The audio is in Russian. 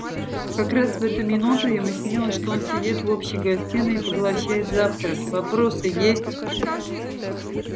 как раз в эту минуту ему снилось что он сидит в общей гостиной и поглощает завтрак вопросы есть